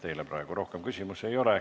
Teile praegu rohkem küsimusi ei ole.